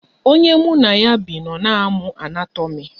Onye mụ na ya bi nọ na-amụ anatomi